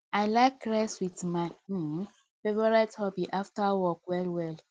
i like relax with my um favorite hobby after work well well